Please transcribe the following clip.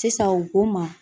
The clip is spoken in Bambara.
Sisan u ko ma